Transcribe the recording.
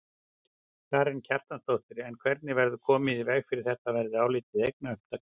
Karen Kjartansdóttir: En hvernig verður komið í veg fyrir að þetta verði álitið eignaupptaka?